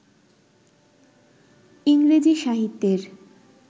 ইংরেজি সাহিত্যের